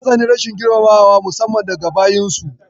Ta tsani rashin girmamawa musamman daga bayinsu.